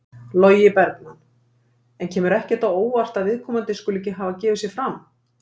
Logi Bergmann: En kemur ekkert á óvart að viðkomandi skuli ekki hafa gefið sig fram?